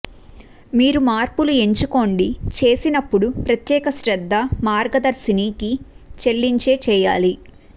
మీరు మార్పులు ఎంచుకోండి చేసినప్పుడు ప్రత్యేక శ్రద్ధ మార్గదర్శినికి చెల్లించే చేయాలి